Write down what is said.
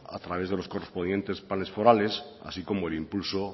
a través de los correspondientes pales forales así como el impulso